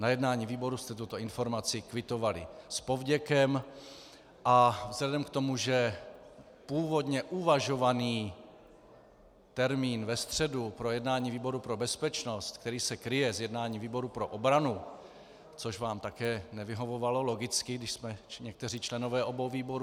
Na jednání výboru jste tuto informaci kvitovali s povděkem a vzhledem k tomu, že původně uvažovaný termín ve středu pro jednání výboru pro bezpečnost, který se kryje s jednáním výboru pro obranu, což vám také nevyhovovalo logicky, když jsme někteří členové obou výborů.